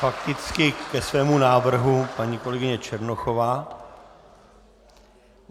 Fakticky ke svému návrhu paní kolegyně Černochová.